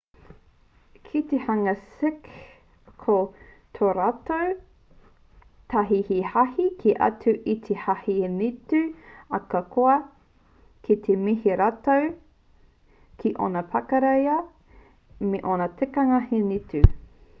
ki te hunga sikh ko tō rātou hāhi he hāhi kē atu i te hāhi hinitū ahakoa kei te mihi rātou ki ōna pakiaka me ōna tikanga hinitū